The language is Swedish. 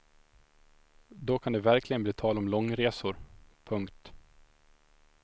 Då kan det verkligen bli tal om långresor. punkt